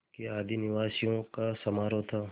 के आदिनिवासियों का समारोह था